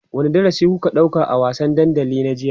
wani darasi kuka ɗauka a wasan dandali na jiya?